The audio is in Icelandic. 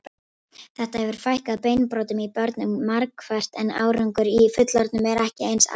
Þetta hefur fækkað beinbrotum í börnum markvert en árangur í fullorðnum er ekki eins afgerandi.